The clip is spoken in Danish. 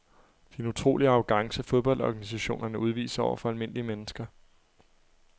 Det er en utrolig arrogance fodboldorganisationerne udviser over for almindelige mennesker.